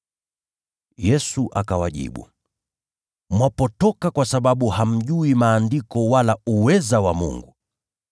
Yesu akawajibu, “Mwapotoka kwa sababu hamjui Maandiko wala uweza wa Mungu.